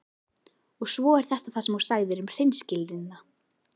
Og svo þetta sem þú sagðir um hreinskilnina.